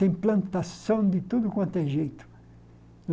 Tem plantação de tudo quanto é jeito.